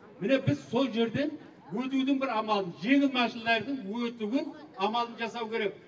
міне біз сол жерден өтудің бір амалын жеңіл машиналардың өтуін амалын жасау керек